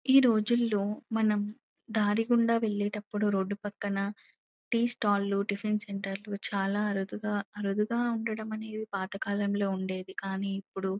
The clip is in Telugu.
ఈ రోజుల్లో మనం దారిగుండా వెళ్ళేటప్పుడు రోడ్డు పక్కన టీ స్టాల్ లు టిఫిన్ సెంటర్ లు చాలా అరుదుగా-అరుదుగా ఉండడమనేది పాత కాలం లో ఉండేది కానీ ఇప్పుడు --